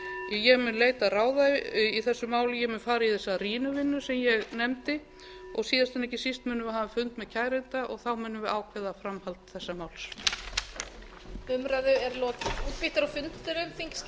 ég mun leita ráða í þessu máli ég mun fara í þessa rýnivinnu sem ég nefndi og síðast en ekki síst munum við hafa fund með kæranda og þá munum við ákveða framhald þessa máls